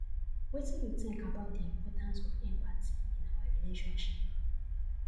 wetin you think about di importance of empathy in our relationships